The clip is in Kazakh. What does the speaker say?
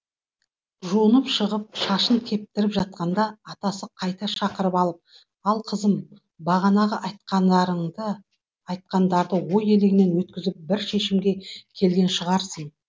жуынып шығып шашын кептіріп жатқанда атасы қайта шақырып алып ал қызым бағанағы айтқандарды ой елегінен өткізіп бір шешімге келген шығарсың